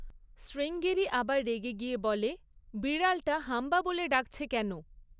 শ্রীঙ্গেরি আবার রেগে গিয়ে বলে, বিড়ালটা হাম্বা বলে ডাকছে কেন?